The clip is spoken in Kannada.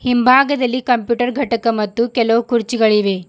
ಹಿಂಭಾಗದಲ್ಲಿ ಕಂಪ್ಯೂಟರ್ ಘಟಕ ಮತ್ತು ಕೆಲವು ಕುರ್ಚುಗಳಿವೆ.